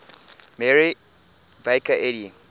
mary baker eddy